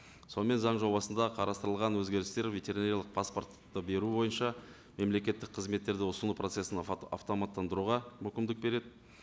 сонымен заң жобасында қарастырылған өзгерістер ветеринариялық паспортты беру бойынша мемлекеттік қызметтерді ұсыну процессін автоматтандыруға мүмкіндік береді